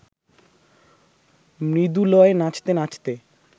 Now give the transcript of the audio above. মৃদু লয়ে নাচতে নাচতে